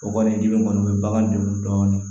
O kɔni dimi kɔni o bɛ bagan degun dɔɔni